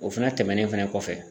O fɛnɛ tɛmɛnen fɛnɛ kɔfɛ